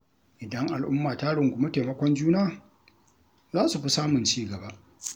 Idan al’umma ta rungumi taimakon juna, za su fi samun ci gaba.